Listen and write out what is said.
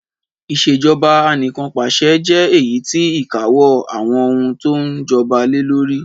Ìṣèjọba Anìkanpàṣẹ jẹ èyítí ìkáwó àwon oun to n joba lelórí